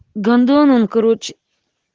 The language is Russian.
гандон он кароче